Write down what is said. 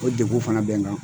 O degun fana bɛn n kan.